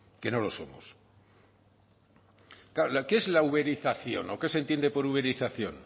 que no lo somos claro qué es la uberización o qué se entiende por uberización